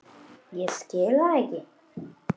Ég skil það ekki.